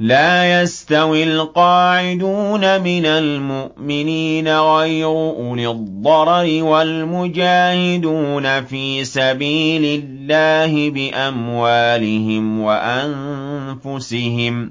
لَّا يَسْتَوِي الْقَاعِدُونَ مِنَ الْمُؤْمِنِينَ غَيْرُ أُولِي الضَّرَرِ وَالْمُجَاهِدُونَ فِي سَبِيلِ اللَّهِ بِأَمْوَالِهِمْ وَأَنفُسِهِمْ ۚ